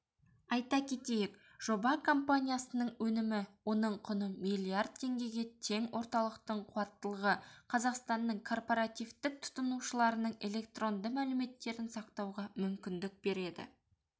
айта кетейік жоба компаниясының өнімі оның құны миллиард теңгеге тең орталықтың қуаттылығы қазақстанның корпоративтік тұтынушыларының электронды мәліметтерін сақтауға мүмкіндік береді